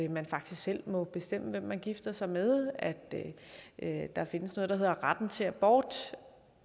man faktisk selv må bestemme hvem man gifter sig med at at der findes noget der hedder retten til abort